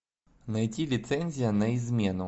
найти лицензия на измену